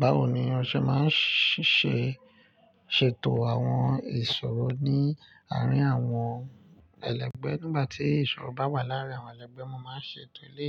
Bawo ni ọṣẹ máa ń ṣiṣẹ́ ṣètò àwọn ìṣòrò ní àárín àwọn ẹlẹgbẹ́? Nígbà tí ìṣòrò bá wà láàárín àwọn ẹlẹgbẹ́, mo máa ṣètò ilé